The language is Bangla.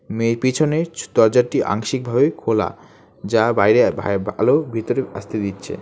মেয়ে পিছনের চ দরজাটি আংশিকভাবে খোলা যা বাইরে ভা আলো ভিতরে আসতে দিচ্ছে।